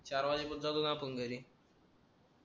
चार वाजेपर्यंत जातो ना आपण घरी